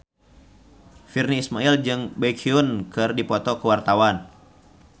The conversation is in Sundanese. Virnie Ismail jeung Baekhyun keur dipoto ku wartawan